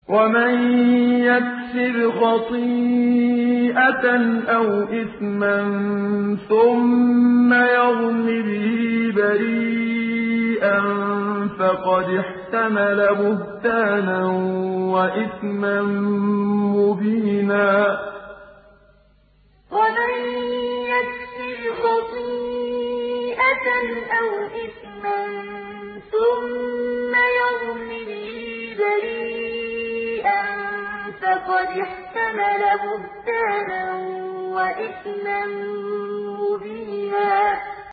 وَمَن يَكْسِبْ خَطِيئَةً أَوْ إِثْمًا ثُمَّ يَرْمِ بِهِ بَرِيئًا فَقَدِ احْتَمَلَ بُهْتَانًا وَإِثْمًا مُّبِينًا وَمَن يَكْسِبْ خَطِيئَةً أَوْ إِثْمًا ثُمَّ يَرْمِ بِهِ بَرِيئًا فَقَدِ احْتَمَلَ بُهْتَانًا وَإِثْمًا مُّبِينًا